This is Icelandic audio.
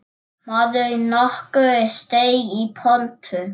Maður nokkur steig í pontu.